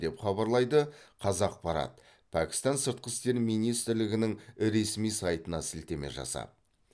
деп хабарлайды қазақпарат пәкістан сыртқы істер министрлігінің ресми сайтына сілтеме жасап